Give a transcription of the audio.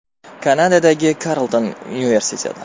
Kanadadagi Karlton universiteti.